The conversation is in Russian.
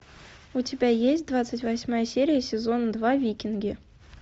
у тебя есть двадцать восьмая серия сезон два викинги